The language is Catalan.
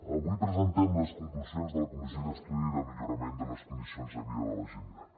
avui presentem les conclusions de la comissió d’estudi de millorament de les condicions de vida de la gent gran